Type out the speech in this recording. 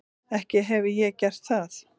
Ekki hefi ég gert það.